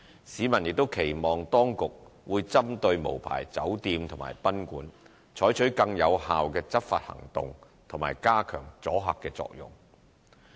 市民亦期望當局會針對無牌酒店及賓館，採取更有效的執法行動及加強阻嚇作用。